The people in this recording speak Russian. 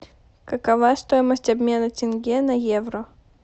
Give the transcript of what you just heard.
какова стоимость обмена тенге на евро